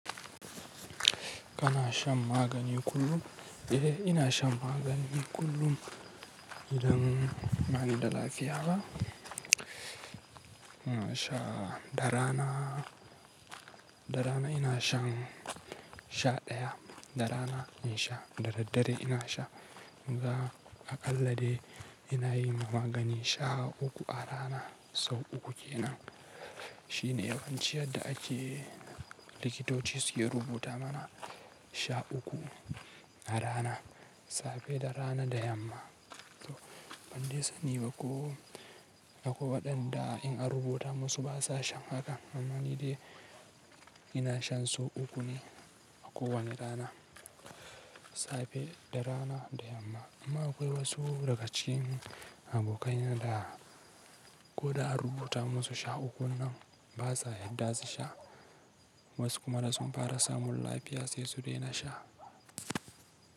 Kana shan magani kullum? Eh, ina shan magani kullum idan bani da lafiya ba. Ina sha, da rana, da rana ina shan sha ɗaya. Da rana in sha, da daddare ina sha. Zuwa aƙallade ina yima magani sha uku a rana, sau uku ke nan. Shine yawanci yadda ake likitoci suke rubuta mana sha uku a rana, safe da rana da yamma. To ban dai sani ba ko akwai waɗanda in an rubuta musu ba sa shan haka. Amani dai ina shan sau uku ne a kowane rana, safe da rana da yamma. Amma akwai wasu daga cikin abokai na da ko da an rubuta musu sha uku nan ba sa yadda su sha. Wasu kuma da sun fara samun lafiya sai su daina sha.